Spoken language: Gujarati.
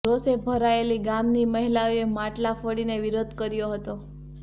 રોષે ભરાયેલી ગામની મહિલાઓએ માટલા ફોડીને વિરોધ કર્યો હતો